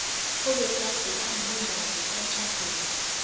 obagade amlingani emtjhadweni